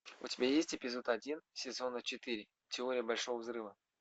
у тебя есть эпизод один сезона четыре теория большого взрыва